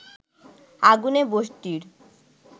আগুনে বস্তির